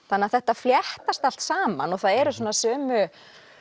þannig að þetta fléttast allt saman og það eru svona sömu